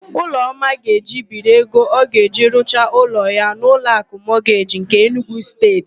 Ụlọma ga-eje ibiri ego ọ ga-eji rụcha ụlọ ya n'Ụlọakụ Mọgeji nke Enugu Steeti.